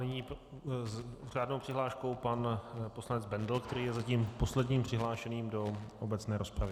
Nyní s řádnou přihláškou pan poslanec Bendl, který je zatím posledním přihlášeným do obecné rozpravy.